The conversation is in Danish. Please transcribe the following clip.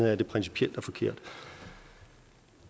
er at det principielt er forkert